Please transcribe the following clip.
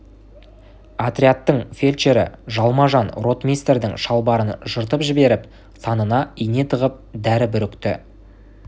отрядтың фельдшері жалма-жан ротмистрдің шалбарын жыртып жіберіп санына ине тығып дәрі бүрікті